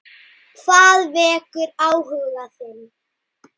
Hvað vekur áhuga þinn?